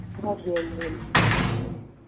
ਹਨ ਜੀ ਹਨ ਜੀ